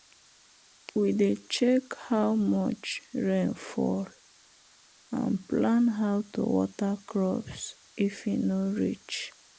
we dey check how much rain fall and plan how to water crops if e no reach.